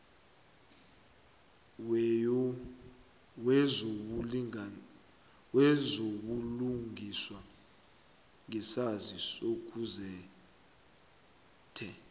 wezobulungiswa ngesaziso kugazethe